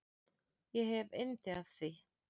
Ég hef yndi af því.